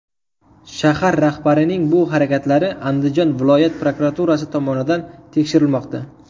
Shahar rahbarining bu harakatlari Andijon viloyat prokuraturasi tomonidan tekshirilmoqda.